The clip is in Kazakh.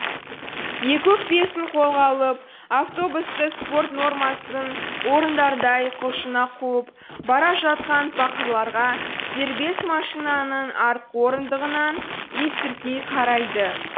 екі өкпесін қолға алып автобусты спорт нормасын орындардай құлшына қуып бара жатқан пақырларға дербес машинаның артқы орындығынан есіркей қарайды